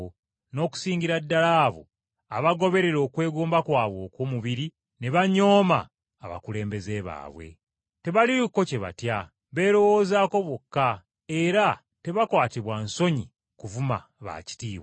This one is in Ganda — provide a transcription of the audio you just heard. n’okusingira ddala abo abagoberera okwegomba kwabwe okw’omubiri ne banyooma abakulembeze baabwe. Tebaliiko kye batya, beerowoozaako bokka, era tebakwatibwa na nsonyi kuvuma baakitiibwa.